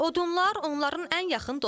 Odunlar onların ən yaxın dostlarıdır.